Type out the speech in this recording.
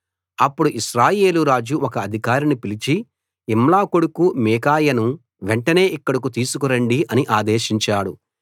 అప్పుడు ఇశ్రాయేలు రాజు ఒక అధికారిని పిలిచి ఇమ్లా కొడుకు మీకాయాను వెంటనే ఇక్కడికి తీసుకురండి అని ఆదేశించాడు